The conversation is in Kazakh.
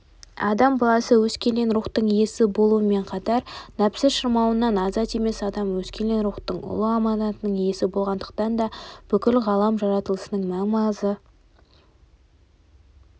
адам баласы өскелең рухтың иесі болуымен қатар нәпсі шырмауынан азат емес адам өскелең рухтың ұлы аманаттың иесі болғандықтан да бүкіл ғалам жаратылысының мән-маңызы